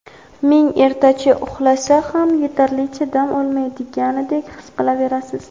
ming ertachi uxlasa ham yetarlicha dam ololmaydigandek his qilaverasiz.